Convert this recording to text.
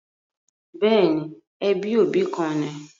Bẹ́ẹ̀ni, ẹbí òbí kan ni